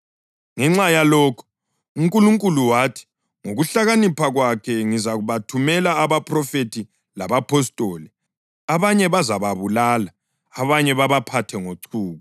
Ngenxa yalokhu, uNkulunkulu wathi, ngokuhlakanipha kwakhe, ‘Ngizabathumela abaphrofethi labapostoli, abanye bazababulala abanye babaphathe ngochuku.’